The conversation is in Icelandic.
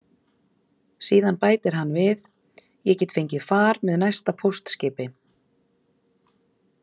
Síðan bætir hann við: Ég get fengið far með næsta póstskipi.